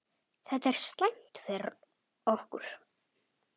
Þetta er slæmt fyrir okkur.